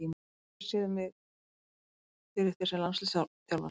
Svo geturðu séð mig fyrir þér sem landsliðsþjálfara?